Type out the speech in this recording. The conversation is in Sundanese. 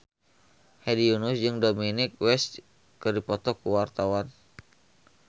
Hedi Yunus jeung Dominic West keur dipoto ku wartawan